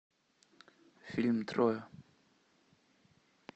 фильм троя